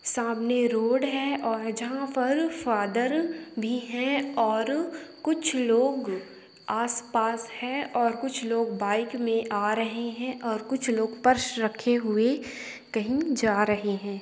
सामने रोड है और जहां पर फादर भी हैं और कुछ लोग आस पास है और कुछ लोग बाइ मे आ रहे हैं और कुछ लोग पर्स रखे हुए कहीं जा रहे हैं।